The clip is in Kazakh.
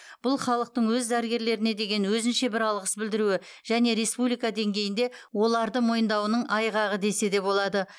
бұл халықтың өз дәрігерлеріне деген өзінше бір алғыс білдіруі және республика деңгейінде оларды мойындауының айғағы десе де болады